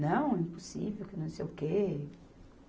Não, impossível, que não sei o quê.